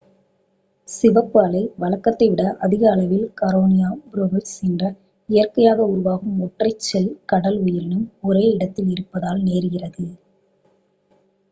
சிவப்பு அலை வழக்கத்தை விட அதிக அளவில் கரெனியா ப்ரேவிஸ் என்ற இயற்கையாக உருவாகும் ஒற்றைச் செல் கடல் உயிரினம் ஒரே இடத்தில் இருப்பதால் நேர்கிறது